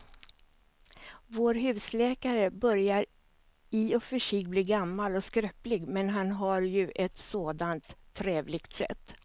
Vår husläkare börjar i och för sig bli gammal och skröplig, men han har ju ett sådant trevligt sätt!